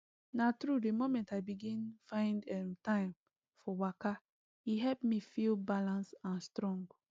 na true the moment i begin find um time for waka e help me feel balance and strong